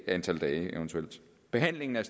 antal dage behandlingen af